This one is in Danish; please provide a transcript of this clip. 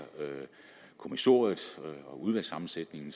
kommissoriet og udvalgssammensætningen